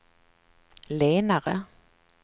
lenare